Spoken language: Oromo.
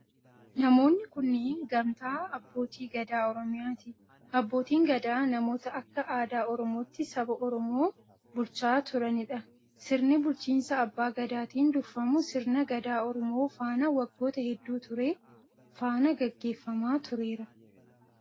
Namoonni kunneen, gamtaa abbootii gadaa Oromiyaati. Abbootiin gadaa namoota akka aadaa Oromootti saba Oromoo bulchaa turanii dha. Sirni bulchiinsa abbaa gadaatin durfamu sirna gadaa oromoo faana waggoota hedduu ture faana gaggeeffamaa tureera.